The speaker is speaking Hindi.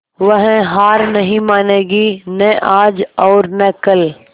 वह हार नहीं मानेगी न आज और न कल